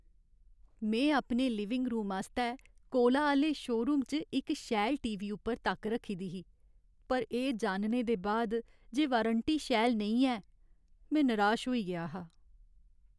में अपने living room आस्तै कोला आह्‌ले शोरूम च इक शैल टी. वी. उप्पर तक्क रक्खी दी ही, पर एह् जानने दे बाद जे वारंटी शैल नेईं ऐ, में निराश होई गेआ हा।